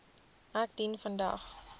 ek dien vandag